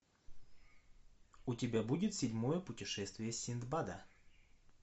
у тебя будет седьмое путешествие синдбада